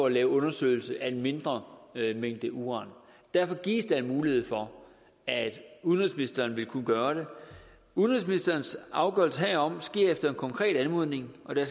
lave en undersøgelse af en mindre mængde uran derfor gives der en mulighed for at udenrigsministeren vil kunne gøre det udenrigsministerens afgørelse herom sker efter en konkret anmodning og der